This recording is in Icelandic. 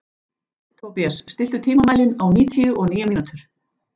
Tobías, stilltu tímamælinn á níutíu og níu mínútur.